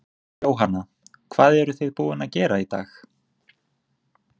Jóhanna: Hvað eruð þið búin að gera í dag?